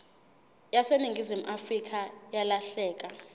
yaseningizimu afrika yalahleka